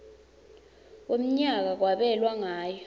wemnyaka kwabelwa ngayo